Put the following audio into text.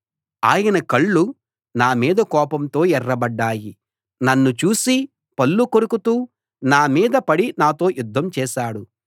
ఆయన కళ్ళు నా మీద కోపంతో ఎర్రబడ్డాయి నన్ను చూసి పళ్ళు కొరుకుతూ నా మీద పడి నాతో యుద్ధం చేశాడు